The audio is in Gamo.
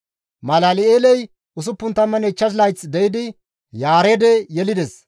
Malal7eeley 65 layth de7idi Yaareede yelides;